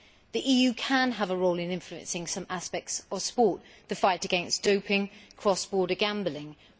The EU can have a role in influencing some aspects of sport the fight against doping and cross border gambling etc.,